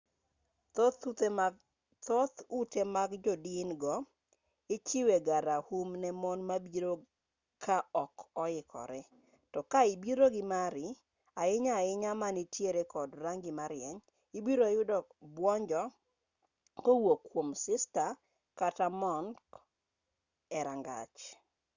thoth ute mag jodin go ichiwe ga raum ne mon mabiro ka ok oikore to ka ibiro gi mari ahinya ahinya manitiere kod rangi ma rieny ibiro yudo buonjo kowuok kuom sista kata monk e rangach